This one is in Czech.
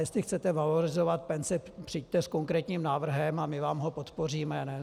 Jestli chcete valorizovat penzi, přijďte s konkrétním návrhem a my vám ho podpoříme.